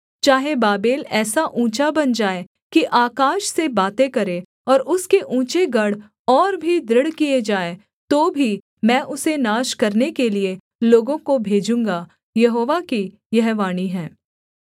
चाहे बाबेल ऐसा ऊँचा बन जाए कि आकाश से बातें करे और उसके ऊँचे गढ़ और भी दृढ़ किए जाएँ तो भी मैं उसे नाश करने के लिये लोगों को भेजूँगा यहोवा की यह वाणी है